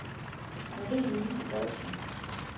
Marie-Louise Boysen